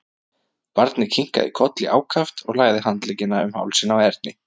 Barnið kinkaði kolli ákaft og lagði handleggina um hálsinn á Erni.